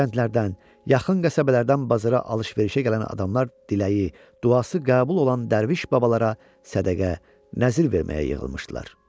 Kəndlərdən, yaxın qəsəbələrdən bazara alış-verişə gələn adamlar diləyi, duası qəbul olan dərviş babalara sədəqə, nəzir verməyə yığılmışdılar.